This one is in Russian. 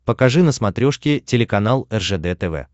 покажи на смотрешке телеканал ржд тв